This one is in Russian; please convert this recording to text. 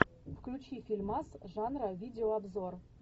включи фильмас жанра видеообзор